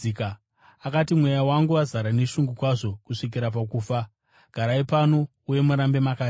Akati, “Mweya wangu wazara neshungu kwazvo kusvikira pakufa. Garai pano uye murambe makarinda.”